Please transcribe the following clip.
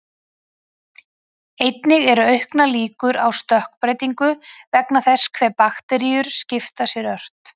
Einnig eru auknar líkur á stökkbreytingu vegna þess hve bakteríur skipta sér ört.